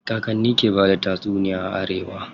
Kakanni ke bada tatsuniya a arewa.